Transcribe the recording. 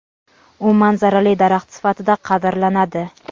U manzarali daraxt sifatida qadrlanadi.